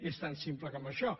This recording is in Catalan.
és tan simple com això